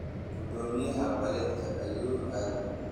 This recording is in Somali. Gudomiyaha baledka ayuu aadey.